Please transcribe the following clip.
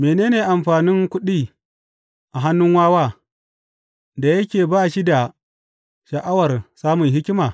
Mene ne amfanin kuɗi a hannun wawa, da yake ba shi da sha’awar samun hikima?